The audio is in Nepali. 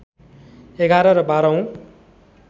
११ र १२ औँ